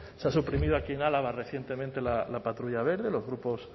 se ha suprimido aquí en álava recientemente la patrulla verde los grupos